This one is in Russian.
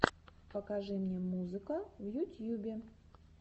покажи мне музыка в ютьюбе